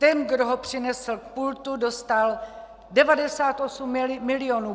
Ten, kdo ho přinesl k pultu, dostal 98 milionů.